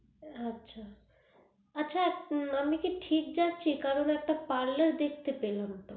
আচ্ছা আচ্ছা আমি কি ঠিক যাচ্ছি কারণ একটা parlor দেখতে পেলাম